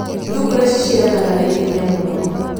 Thungura ciciaranaga na ihenya mũno.